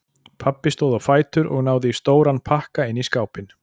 Pabbi stóð á fætur og náði í stóran pakka inn í skápinn.